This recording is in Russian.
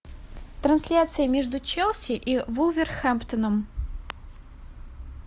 трансляция между челси и вулверхэмптоном